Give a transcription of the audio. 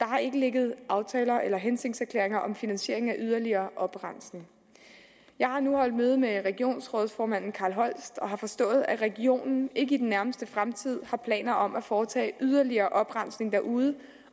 har ikke ligget aftaler eller hensigtserklæringer om finansiering af yderligere oprensning jeg har nu holdt møde med regionsrådsformanden carl holst og har forstået at regionen ikke i den nærmeste fremtid har planer om at foretage yderligere oprensning derude